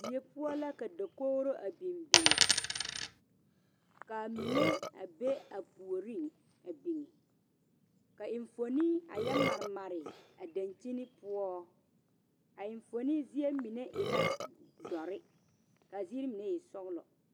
Die poɔ la ka dakogro a biŋ biŋ ka a mine a be a puoriŋ a biŋ ka eŋfuoni a yɔ mare mare a dankyini poɔ a eŋfuoni zie mine e dɔre ka a ziiri mine e sɔglɔ.